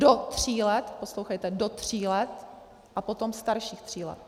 Do tří let - poslouchejte - do tří let a potom starších tří let.